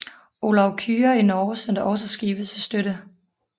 Olav Kyrre i Norge sendte også skibe til støtte